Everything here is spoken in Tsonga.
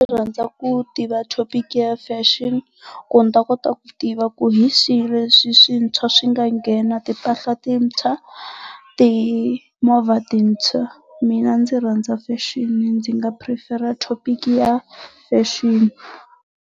ku tiva thopiki ya fashion ku ni ta kota ku tiva ku hi swihi leswi swintshwa swi nga nghena timpahla tintshwa timovha tintshwa, mina ndzi rhandza fexeni ndzi nga phurifera thopiki ya fexeni.